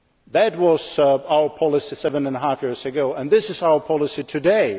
No. That was our policy seven and a half years ago and that is our policy